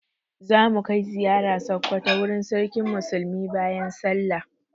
Za mu kai ziyara Sokoto wurin Sarkin Musulmi bayan sallah.